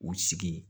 U sigi ye